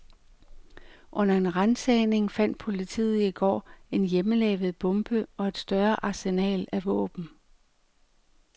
Under en ransagning fandt politiet i går en hjemmelavet bombe og et større arsenal af våben.